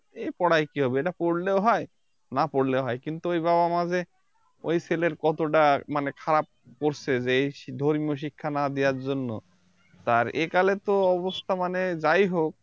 এই পড়ায় কি হবে এটা পড়লেও হয় না পড়লেও হয় কিন্তু ওই বাবা মা যে ওই ছেলের কতটা মানে খারাপ করছে যে এই ধর্মীয় শিক্ষা না দেওয়ার জন্য আর একালে অবস্থা মানে যাই হোক